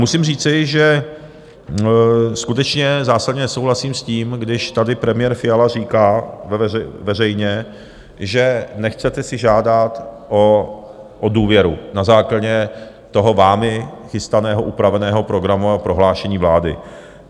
Musím říci, že skutečně zásadně nesouhlasím s tím, když tady premiér Fiala říká veřejně, že nechcete si žádat o důvěru na základě toho vámi chystaného upraveného programového prohlášení vlády.